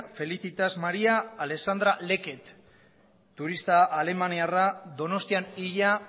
felicitas maria alexandra leckett turista alemaniarra donostian hila